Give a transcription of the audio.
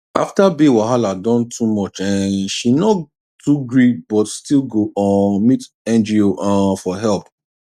after bill wahala don too much um she no too gree but still go um meet NGO um for help